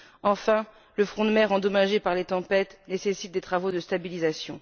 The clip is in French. Enfin, le front de mer endommagé par les tempêtes nécessite des travaux de stabilisation.